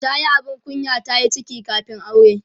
tayi abin kunya tayi ciki kamin aure